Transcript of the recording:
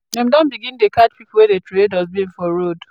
dem don begin dey catch pipo wey dey troway dustbin for road